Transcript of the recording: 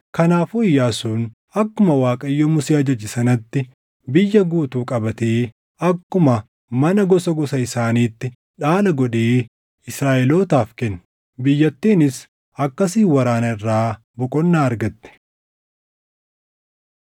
Kanaafuu Iyyaasuun akkuma Waaqayyo Musee ajaje sanatti biyya guutuu qabatee akkuma mana gosa gosa isaaniitti dhaala godhee Israaʼelootaaf kenne. Biyyattiinis akkasiin waraana irraa boqonnaa argatte.